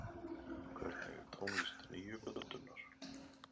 Hvernig er tónlist nýju plötunnar?